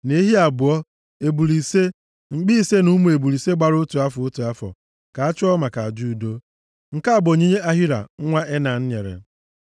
na ehi abụọ, ebule ise, mkpi ise na ụmụ ebule ise gbara otu afọ, otu afọ, ka a chụọ maka aja udo. Nke a bụ onyinye Ahira nwa Enan nyere.